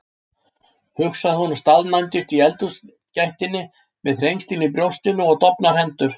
hugsaði hún og staðnæmdist í eldhúsgættinni með þrengsli í brjóstinu og dofnar hendur.